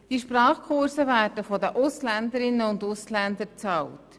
Diese Sprachkurse werden von den Ausländerinnen und Ausländern bezahlt.